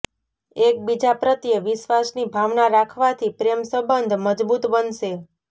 એક બીજા પ્રત્યે વિશ્વાસની ભાવના રાખવાથી પ્રેમ સંબંધ મજબૂત બનશે